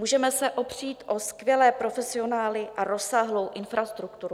Můžeme se opřít o skvělé profesionály a rozsáhlou infrastrukturu.